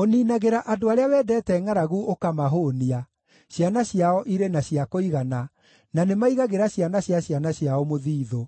Ũniinagĩra andũ arĩa wendete ngʼaragu ũkamahũũnia; ciana ciao irĩ na cia kũigana, na nĩmaigagĩra ciana cia ciana ciao mũthiithũ.